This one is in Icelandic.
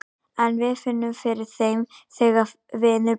En við finnum fyrir þeim þegar vindur blæs.